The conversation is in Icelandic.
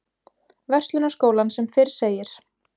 Verslunarskólann sem fyrr segir.